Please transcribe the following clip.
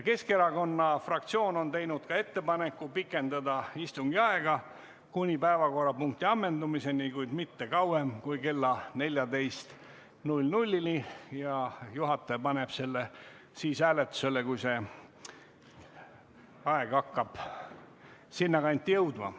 Keskerakonna fraktsioon on teinud ettepaneku pikendada istungi aega kuni päevakorrapunkti ammendumiseni, kuid mitte kauem kui kella 14-ni, ja juhataja paneb selle hääletusele siis, kui aeg hakkab sinna kanti jõudma.